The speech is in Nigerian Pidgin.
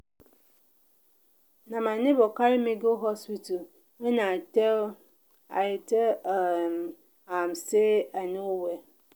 na my nebor carry me go hospital wen i tell i tell um am sey i no well.